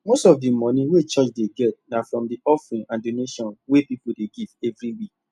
most of the money wey church dey get na from the offering and donation wey people dey give every week